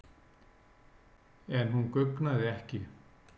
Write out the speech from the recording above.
En hún guggnaði ekki.